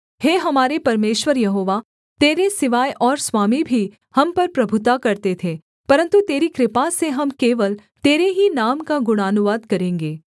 हे हमारे परमेश्वर यहोवा तेरे सिवाय और स्वामी भी हम पर प्रभुता करते थे परन्तु तेरी कृपा से हम केवल तेरे ही नाम का गुणानुवाद करेंगे